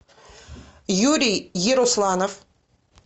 юрий ерусланов